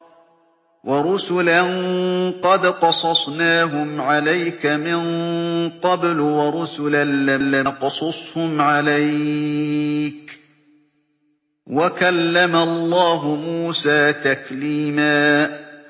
وَرُسُلًا قَدْ قَصَصْنَاهُمْ عَلَيْكَ مِن قَبْلُ وَرُسُلًا لَّمْ نَقْصُصْهُمْ عَلَيْكَ ۚ وَكَلَّمَ اللَّهُ مُوسَىٰ تَكْلِيمًا